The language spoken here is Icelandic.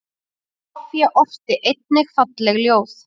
Soffía orti einnig falleg ljóð.